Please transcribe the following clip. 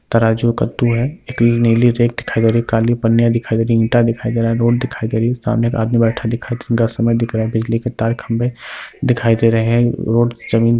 तराजू है कद्दू है | एक नीली रैक दिखाई दे रही है | काली पन्नी दिखाई दे रही है | ईंट दिखाई दे रही है | रोड दिखाई दे रही है | सामने एक आदमी बैठा दिखाई दे रहा है | बिजली के तार खम्बे दिखाई दे रहे हैं | रोड जमीन--